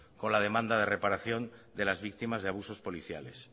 con la demanda de reparación de las víctimas de abusos policiales